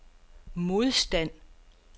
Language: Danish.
modstand